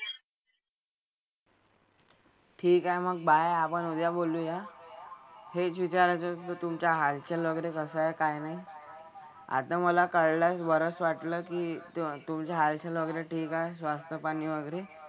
ठीक आहे मग Bye आपन उद्या बोलु या हेच वीचाराचे होते तुमचे हाल चाल वगैरे कसे कायनाय अता मला कळला बरच वाटला की तुमचा हाल चाल वगैरे सवास्थ पानी वगैरे